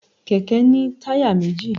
kẹkẹ ni tayá mejí